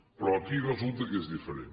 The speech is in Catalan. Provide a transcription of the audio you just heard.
però aquí resulta que és diferent